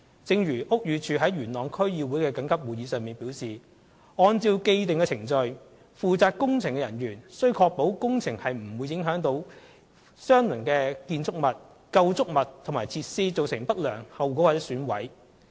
正如屋宇署於元朗區議會的緊急會議上表示，按照既定程序，負責工程的人員須確保工程不會影響相鄰的建築物、構築物及設施，造成不良後果或損毀。